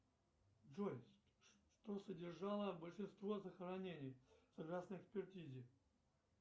джой что содержало большинство захоронений согласно экспертизе